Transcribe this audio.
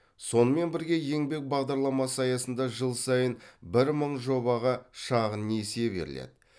сонымен бірге еңбек бағдарламасы аясында жыл сайын бір мың жобаға шағын несие беріледі